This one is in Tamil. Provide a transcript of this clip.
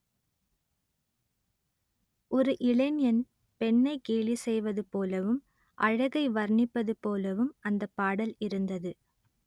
ஒரு இளைஞன் பெண்ணை கேலி செய்வது போலவும் அழகை வர்ணிப்பது போலவும் அந்த பாடல் இருந்தது